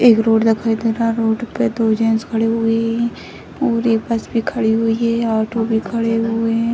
एक रोड दिखाई दे रहा है | रोड पे दो जेंट्स खड़े हुए हैं और एक बस भी खड़ी हुई है ऑटो भी खड़ी हुई है |